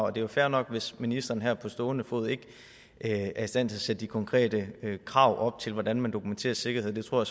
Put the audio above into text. er jo fair nok hvis ministeren her på stående fod ikke er i stand til at sætte de konkrete krav op til hvordan man dokumenterer sikkerhed det tror